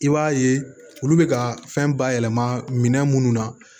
I b'a ye olu bɛ ka fɛn bayɛlɛma minɛn minnu na